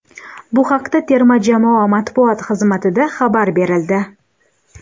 Bu haqda terma jamoa matbuot xizmatida xabar berildi .